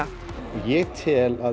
ég tel að